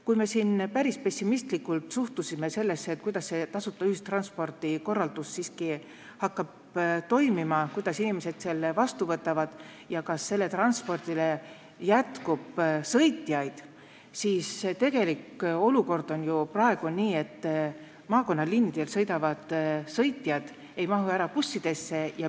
Kui me siin päris pessimistlikult suhtusime sellesse, kuidas see tasuta ühistranspordi korraldus siiski hakkab toimima, kuidas inimesed selle vastu võtavad ja kas jätkub sõitjaid, siis tegelik olukord on ju praegu selline, et maakonnaliinidel ei mahu sõitjad bussidesse ära.